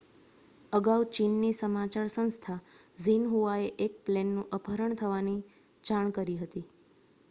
અગાઉ ચીનની સમાચાર સંસ્થા ઝીનહુઆએ એક પ્લેનનું અપહરણ થવાની જાણ કરી હતી